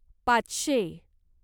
पाचशे